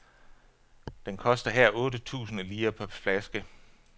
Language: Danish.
Den koster her otte tusinde lire per flaske.